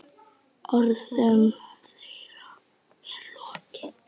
Orðum þeirra er lokið.